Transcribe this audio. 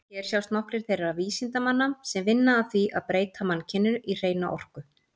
Hér sjást nokkrir þeirra vísindamanna sem vinna að því að breyta mannkyninu í hreina orku.